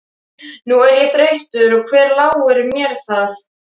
Nú er ég þreyttur og hver láir mér það.